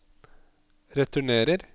returnerer